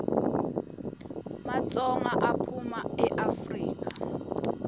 matsonga aphuma eafrika